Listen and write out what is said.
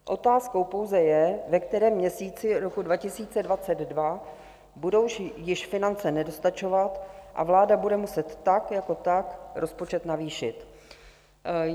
Otázkou pouze je, ve kterém měsíci roku 2022 budou již finance nedostačovat a vláda bude muset tak jako tak rozpočet navýšit.